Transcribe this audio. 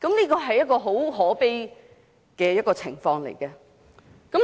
這是一個很可悲的情況。